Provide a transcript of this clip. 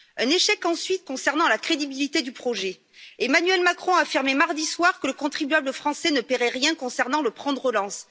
Un échec, ensuite, concernant la crédibilité du projet. Emmanuel Macron a affirmé mardi soir que le contribuable français ne paierait rien concernant le plan de relance.